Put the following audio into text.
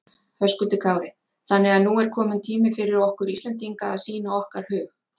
Höskuldur Kári: Þannig að nú er kominn tími fyrir okkur Íslendinga að sýna okkar hug?